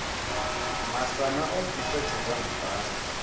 masana o ḓisa tshedza muṱani